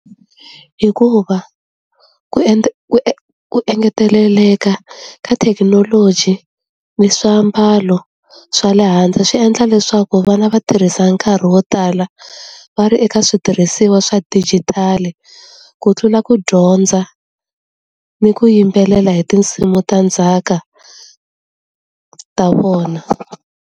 Hikuva ku ku ku engeteleka ka thekinoloji ni swiambalo swa le handle swi endla leswaku vana va tirhisa nkarhi wo tala va ri eka switirhisiwa swa dijitali, ku tlula ku dyondza, ni ku yimbelela hi tinsimu ta ndzhaka ta vona.